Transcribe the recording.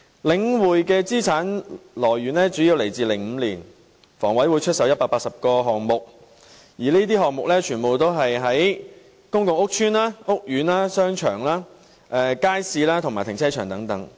領匯的資產來源主要是香港房屋委員會在2005年出售的180個項目，而這些項目全部是在公共屋邨和屋苑內的商場、街市和停車場。